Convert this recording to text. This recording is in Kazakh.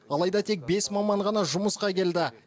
алайда тек бес маман ғана жұмысқа келді